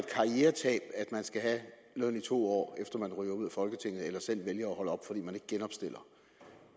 man skal have løn i to år efter man ryger ud af folketinget eller selv vælger at holde op fordi man ikke genopstiller